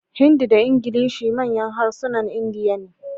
Hindi da Ingilishi manyan harsunan Indiya ne.